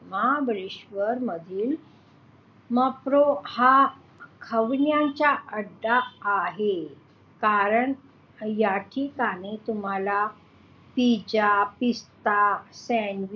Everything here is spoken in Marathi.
महाबळेश्वर मधील mapro हा खवय्यांचा अड्डा आहे. कारण याठिकाणी तुम्हाल pizza pista sandwich